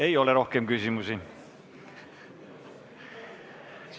Ei ole rohkem küsimusi.